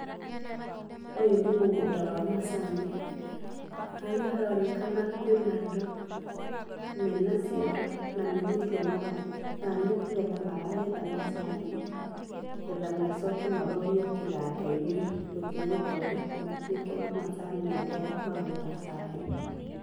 Ũyũ nĩ mũgũnda wa macani. Harĩa haronekana kwĩna andũ mena ciondo na nĩgũtũa maratua kana nĩ kũgetha maragetha macani, nĩgetha macoke marorio kĩganda-inĩ gũthiĩ gũthondekwo matuĩke macani marĩa marugaga cai.